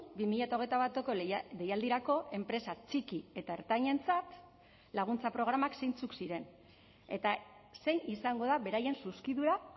bi mila hogeita bateko deialdirako enpresa txiki eta ertainentzat laguntza programak zeintzuk ziren eta zein izango da beraien zuzkidura